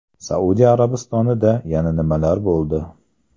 Saudiya Arabistonida yana nimalar bo‘ldi?.